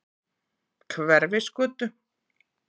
Hverfisgötu